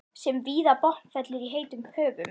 sem víða botnfellur í heitum höfum.